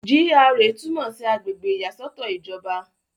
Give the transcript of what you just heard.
GRA túmọ̀ sí àgbègbè ìyàsọ́tọ̀ ìjọba.